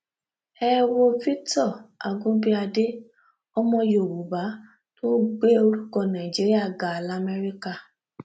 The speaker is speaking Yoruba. ẹ wo victor agunbíàdé ọmọ yorùbá tó gbé orúkọ nàìjíríà ga lamẹríkà